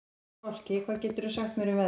Fálki, hvað geturðu sagt mér um veðrið?